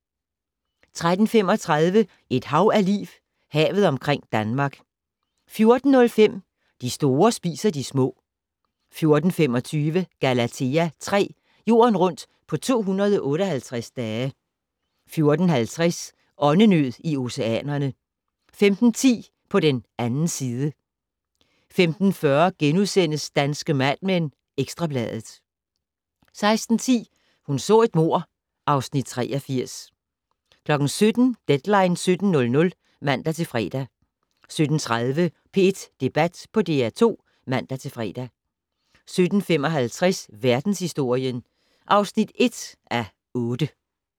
13:35: Et hav af liv - Havet omkring Danmark 14:05: De store spiser de små 14:25: Galathea 3: Jorden rundt på 258 dage 14:50: Åndenød i oceanerne 15:10: På den 2. side 15:40: Danske Mad Men: Ekstra Bladet * 16:10: Hun så et mord (Afs. 83) 17:00: Deadline 17.00 (man-fre) 17:30: P1 Debat på DR2 (man-fre) 17:55: Verdenshistorien (1:8)